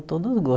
Todos os gostos